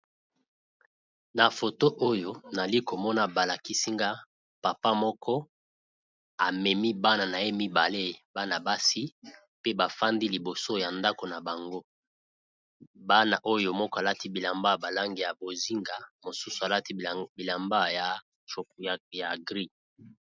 Na foto oyo nazali komona balakisi nga papa moko amemi bana naye mibale bana basi pe bafandi liboso ya ndako na bango moko alati bilamba ya langi ya bozenga mosusu bilamba ya gris.